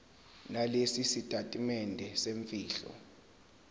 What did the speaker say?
nalesi sitatimende semfihlo